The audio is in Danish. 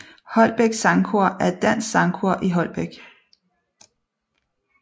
Holbæk Sangkor er et dansk sangkor i Holbæk